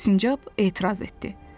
Sincab etiraz etdi.